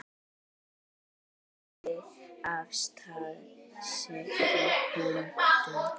Siglt af stað seglum þöndum.